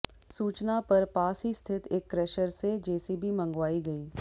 सूचना पर पास ही स्थित एक क्रेशर से जेसीबी मंगवाई गई